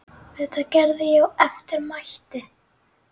Þetta gerði ég eftir mætti.